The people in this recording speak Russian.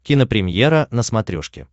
кинопремьера на смотрешке